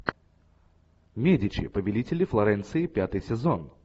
медичи повелители флоренции пятый сезон